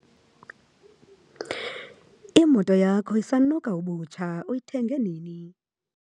Imoto yakho isanuka ubutsha, uyithenge nini?